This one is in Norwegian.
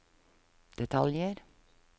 detaljer